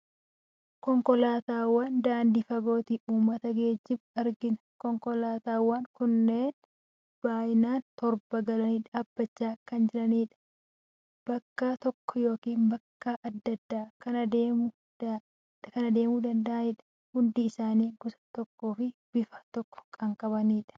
Konkolaataawwan daandii fagootti uummata geejjibu argina. Konkolaataawwan kunneen baay'inaan toora galanii dhaabachaa kan jiranii fi bakka tokko yookiin bakka adda addaa kan adeemuu danda'anidha. Hundi isaanii gosa tokkoo fi bifa tokko kan qabanidha.